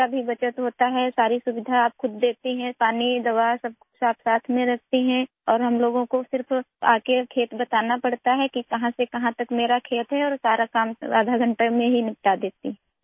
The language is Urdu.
وقت بھی بچ جاتا ہے، آپ تمام سہولیات خود دیکھ لیں، پانی، دوائی، سب کچھ ساتھ رکھا ہوا ہے اور ہمیں صرف فارم پر آکر بتانا ہے، میرا فارم کہاں سے ہے اور سارا کام آدھے گھنٹے میں ہو جاتا ہے